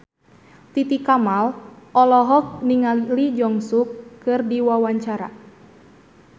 Titi Kamal olohok ningali Lee Jeong Suk keur diwawancara